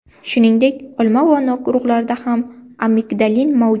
Shuningdek, olma va nok urug‘larida ham amigdalin mavjud.